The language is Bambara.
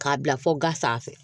K'a bila fɔ ga sanfɛ